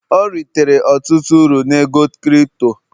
ọ ritere ọtụtụ uru na ego kirito